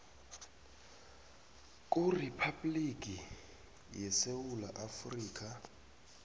kuriphabhligi yesewula afrika